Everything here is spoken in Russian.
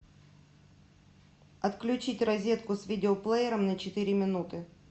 отключить розетку с видеоплеером на четыре минуты